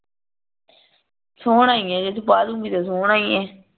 ਸੋਹਣਾ ਈ ਏ ਜੇ ਤੂੰ ਪਾਲੁਂਗੀ ਤੇ ਸੋਹਣਾ ਹੀ ਆ